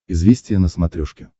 известия на смотрешке